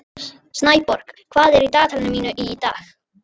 Snæborg, hvað er í dagatalinu mínu í dag?